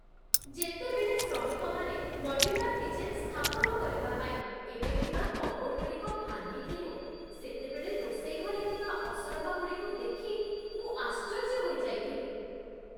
ଯେତେବେଳେ ଶ୍ରମିକମାନେ modular kitchen ସ୍ଥାପନ କରିବା ପାଇଁ ଏବେ ଥିବା କବୋର୍ଡଗୁଡ଼ିକ ଭାଙ୍ଗିଥିଲେ, ସେତେବେଳେ ରୋଷେଇ ଘରେ ଥିବା ଅସରପାଗୁଡ଼ିକୁ ଦେଖି ମୁଁ ଆଶ୍ଚର୍ଯ୍ୟ ହୋଇଯାଇଥିଲି